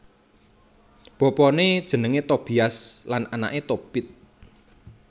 Bapané jenengé Tobias lan anaké Tobit